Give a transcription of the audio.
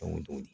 Dɔnko